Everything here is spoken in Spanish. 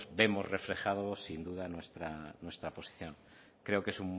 vemos reflejado sin duda nuestra posición creo que es